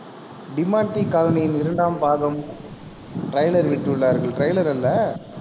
டிமான்டி காலனியின் இரண்டாம் பாகம் trailer விட்டுள்ளார்கள். trailer இல்லை